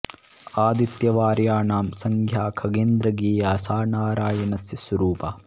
आदित्यभार्या नाम संज्ञा खगेन्द्र ज्ञेया सा नारायणस्य स्वरूपा